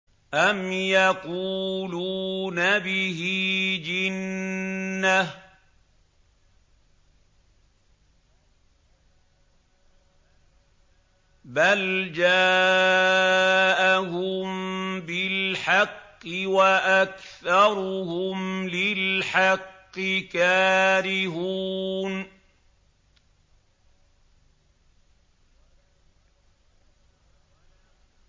أَمْ يَقُولُونَ بِهِ جِنَّةٌ ۚ بَلْ جَاءَهُم بِالْحَقِّ وَأَكْثَرُهُمْ لِلْحَقِّ كَارِهُونَ